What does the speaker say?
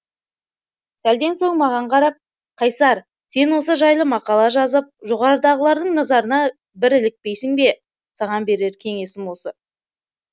сәлден соң маған қарап қайсар сен осы жайлы мақала жазып жоғарыдағылардың назарына бір ілікпейсің бе саған берер кеңесім осы